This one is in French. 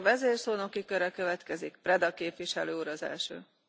Madame la Présidente, félicitations pour votre réélection.